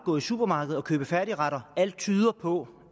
gå i supermarkedet og købe færdigretter at alt tyder på